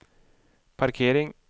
parkering